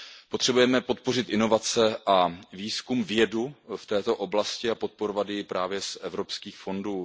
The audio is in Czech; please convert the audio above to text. Potřebujeme podpořit inovace a výzkum, vědu v této oblasti a podporovat ji právě z evropských fondů.